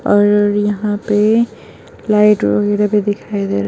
और यहां पे लाइट वगैरह भी दिखाई दे रहा --